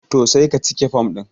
to sai ka cike form din